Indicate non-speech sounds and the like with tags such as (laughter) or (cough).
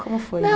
Como foi? (unintelligible)